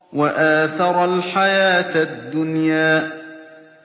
وَآثَرَ الْحَيَاةَ الدُّنْيَا